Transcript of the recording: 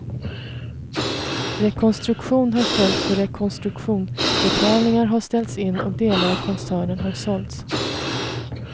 Rekonstruktion har följt på rekonstruktion, betalningar har ställts in och delar av koncernen har sålts.